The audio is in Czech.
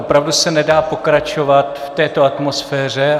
Opravdu se nedá pokračovat v této atmosféře.